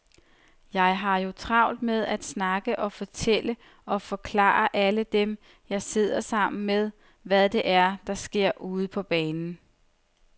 Jeg har jo travlt med at snakke og fortælle og forklare alle dem, jeg sidder sammen med, hvad det er, der sker ude på banen.